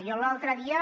jo l’altre dia